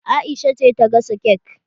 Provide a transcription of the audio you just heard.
Aisha ce ta gasa kek